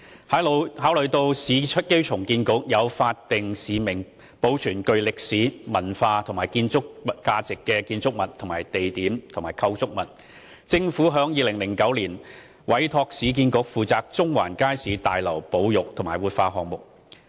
考慮到市區重建局有法定使命保存具歷史、文化或建築價值的建築物、地點及構築物，政府於2009年委託市建局負責中環街市大樓保育和活化項目。